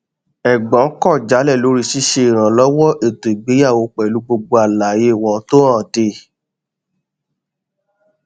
ẹgbọn kọ jálẹ lórí ṣṣe ìrànlọwọ ètò ìgbéyàwó pẹlú gbogbo àlàyé wọn tó hànde